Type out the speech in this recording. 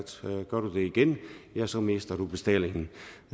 gør du det igen så mister du bestallingen